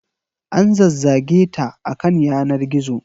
An zazzage ta a kan yanar gizo.